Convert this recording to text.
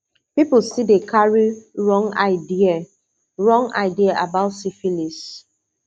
people still dey carry wrong idea wrong idea about syphilis